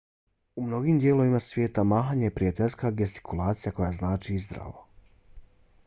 u mnogim dijelovima svijeta mahanje je prijateljska gestikulacija koja znači zdravo